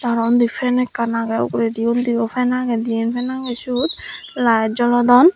aro unni fan ekkan age ugurendio undio fan age diyan fan age ciyot light jolodon.